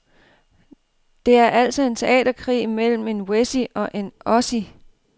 Det er altså en teaterkrig mellem en wessie og en ossie.